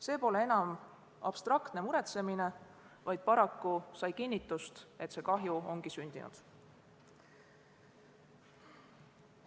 See pole enam abstraktne muretsemine, vaid paraku sai kinnitust, et kahju ongi sündinud.